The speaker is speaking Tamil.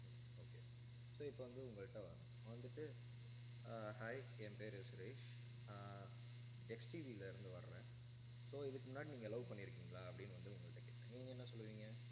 ஹம் okay so இப்ப வந்து, உங்கள்ட்ட வர்றேன். வந்துட்டு ஆஹ் hi என் பேரு சுரேஷ் ஆஹ் XTV ல இருந்து வர்றேன். so இதுக்கு முன்னாடி நீங்க love பண்ணியிருக்கீங்களா அப்படின்னு வந்து, உங்கள்ட்ட கேட்கறேன் நீங்க என்ன சொல்லுவீங்க